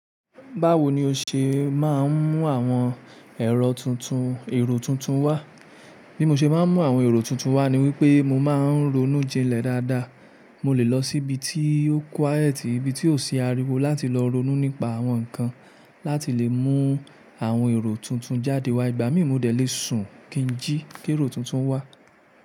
Báwo ni o ṣe máa ń mú àwọn èrò tuntun wá? Bí mo ṣe máa ń mú àwọn èrò tuntun wá ni wípé mo máa ń ronú jinlẹ̀ dáadáa. Mo lè lọ síbi tí ó quiet, ibi tí ó sì ariwo láti lọ ronú nípa àwọn nǹkan láti lè mú àwọn èrò tuntun jáde wá. Ìgbà mí mo dé lè sùn kí ń jí kẹ́rò tuntun wá.